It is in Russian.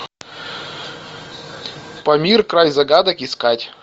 памир край загадок искать